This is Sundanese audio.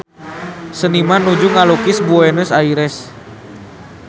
Seniman nuju ngalukis Buenos Aires